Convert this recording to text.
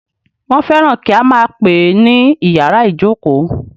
Wọ́n fẹ́ràn kí a máà pè é ní ìyàrá ìjókó.